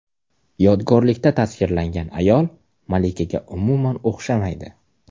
Yodgorlikda tasvirlangan ayol malikaga umuman o‘xshamaydi.